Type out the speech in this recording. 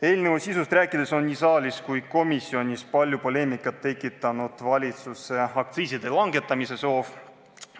Eelnõu sisust rääkides on nii saalis kui ka komisjonis palju poleemikat tekitanud valitsuse aktsiiside langetamise soov.